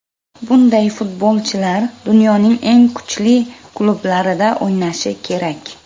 Bunday futbolchilar dunyoning eng kuchli klublarida o‘ynashi kerak.